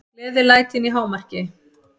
Gleðilætin í hámarki.